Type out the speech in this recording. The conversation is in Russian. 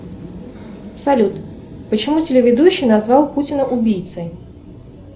салют почему телеведущий назвал путина убийцей